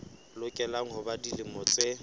lokela ho ba dilemo tse